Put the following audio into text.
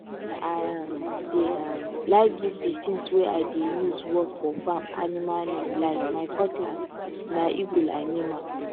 i um dey um like give di tins wey i dey use work for farm animal name like my cutlass na eagle i name am